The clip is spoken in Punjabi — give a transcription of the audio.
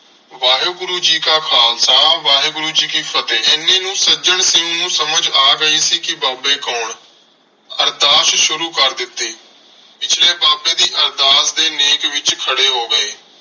ਵਾਹਿਗੁਰੂ ਜੀ ਕਾ ਖਾਲਸਾ, ਵਾਹਿਗੁਰੂ ਜੀ ਕੀ ਫ਼ਤਿਹ। ਐਨੇ ਨੂੰ ਸੱਜਣ ਸਿੰਘ ਨੂੰ ਸਮਝ ਆ ਗਈ ਸੀ ਕਿ ਬਾਬੇ ਕੌਣ? ਅਰਦਾਸ ਸ਼ੁਰੂ ਕਰ ਦਿਤੀ ਪਿਛਲੇ ਬਾਬੇ ਦੀ ਅਰਦਾਸ ਦੇ ਨੇਕ ਵਿਚ ਖੜੇ ਹੋ ਗਏ।